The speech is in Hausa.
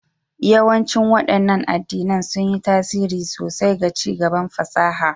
Yawancin waɗannan addinan sun yi tasiri sosai ga ci gaban fasaha